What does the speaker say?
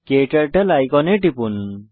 ক্টার্টল আইকনে টিপুন